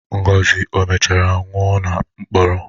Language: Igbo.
Ngozi o mechara nwụọ na mkpọrọ?